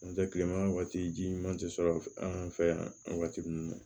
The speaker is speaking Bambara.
N'o tɛ kilema wagati ji ɲuman tɛ sɔrɔ an fɛ yan wagati min na